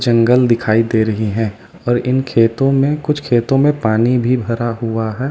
जंगल दिखाई दे रही है और इन खेतों में कुछ खेतों में पानी भी भरा हुआ है।